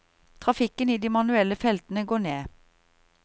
Trafikken i de manuelle feltene går ned.